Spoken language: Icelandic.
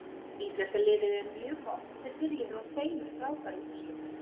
Íslenska liðið er mjög gott og þeir byrjuðu á tveimur frábærum úrslitum.